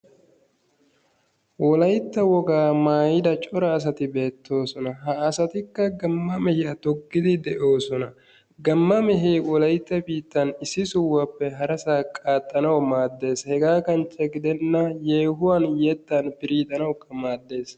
Wolaytta wogaa maayida cora asati beettoosona. Ha asatikka gamma mehiya toggidi de"oosona. Gamma mehee wolaytta biittaan issi sohuwappe Harasaa qaaxxanawu maaddes. Hegaa kanche gidenna yeehuwan yettan piriixanawukka maaddes.